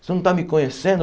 Você não está me conhecendo?